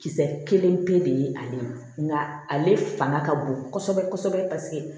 Kisɛ kelen pe de ye ale ma nka ale fanga ka bon kosɛbɛ kosɛbɛ paseke